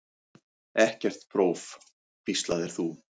Ekkert próf, hvíslaðir þú.